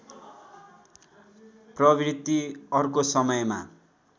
प्रवृत्ति अर्को समयमा